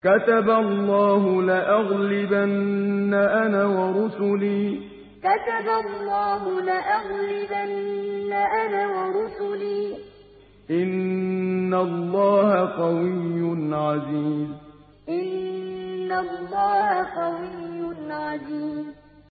كَتَبَ اللَّهُ لَأَغْلِبَنَّ أَنَا وَرُسُلِي ۚ إِنَّ اللَّهَ قَوِيٌّ عَزِيزٌ كَتَبَ اللَّهُ لَأَغْلِبَنَّ أَنَا وَرُسُلِي ۚ إِنَّ اللَّهَ قَوِيٌّ عَزِيزٌ